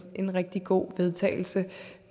en rigtig god vedtagelse